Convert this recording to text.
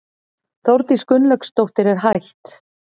Þórdís Gunnlaugsdóttir, hætt